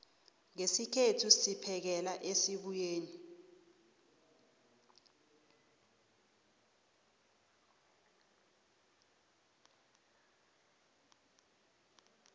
ngesikhethu siphekela esibuyeni